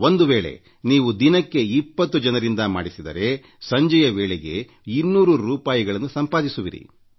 ಒಂದು ವೇಳೆ ನೀವು ದಿನಕ್ಕೆ 2೦ ಜನರಿಂದ ಈ ಕಾರ್ಯ ಮಾಡಿಸಿದರೆ ಸಂಜೆಯ ವೇಳೆಗೆ 2೦೦ ರೂಪಾಯಿಗಳನ್ನು ಸಂಪಾದಿಸುವಿರಿ